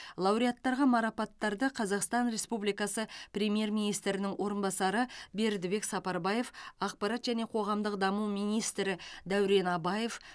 лауреаттарға марапаттарды қазақстан республикасы премьер министрінің орынбасары бердібек сапарбаев ақпарат және қоғамдық даму министрі дәурен абаев